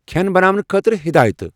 کھین بناونہٕ خٲطرٕ ہیدایتہٕ ۔